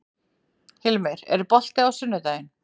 Hilmir, er bolti á sunnudaginn?